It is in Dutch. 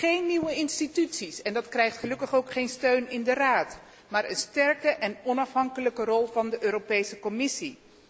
Geen nieuwe instituties, en dat krijgt gelukkig ook geen steun in de Raad, maar een sterke en onafhankelijke rol van de Commissie.